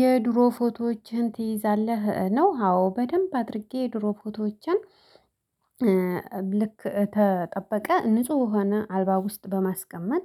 የድሮ ፎቶዎችህን ትይዛለህ ነው? አዎ በደንብ አድርጌ የድሮ ፎቶዎችን ልክ ተጠበቀ ንጹህ የሆነ አልበም ውስጥ በማስቀመጥ።